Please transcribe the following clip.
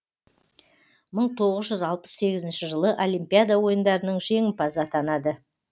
мың тоғыз жүз алпыс сегізінші жылы олимпиада ойындарының жеңімпазы атанады